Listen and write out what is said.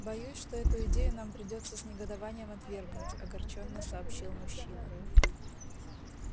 боюсь что эту идею нам придётся с негодованием отвергнуть огорчённо сообщил мужчина